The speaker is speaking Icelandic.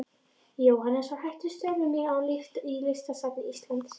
Jóhannes var hættur störfum í Listasafni Íslands.